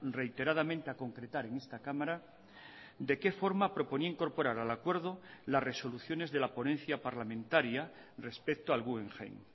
reiteradamente a concretar en esta cámara de qué forma proponía incorporar al acuerdo las resoluciones de la ponencia parlamentaria respecto al guggenheim